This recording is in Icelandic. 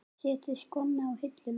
Setja skóna á hilluna?